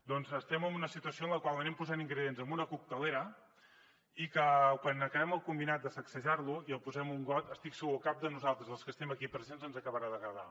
doncs estem en una situació en la qual anem posant ingredients en una coctelera i que quan acabem el combinat de sacsejar lo i el posem en un got estic segur que a cap de nosaltres dels que estem aquí presents ens acabarà d’agradar